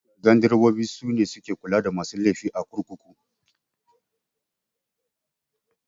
Gandurobobi sune suke kula da masu laifi a kurkuku